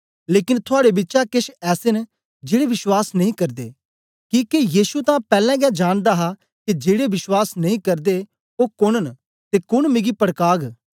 लेकन थुआड़े बिचा केछ ऐसे न जेड़े विश्वास नेई करदे किके यीशु तां पैलैं गै जानदा हा के जेड़े विश्वास नेई करदे ओ कोन न ते कोन मिगी पड़काग